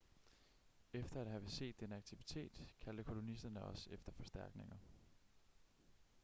efter at have set denne aktivitet kaldte kolonisterne også efter forstærkninger